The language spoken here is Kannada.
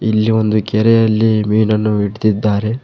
ಇಲ್ಲಿ ಒಂದು ಕೆರೆಯಲ್ಲಿ ಮೀನನ್ನು ಇಡ್ತಿದ್ದಾರೆ.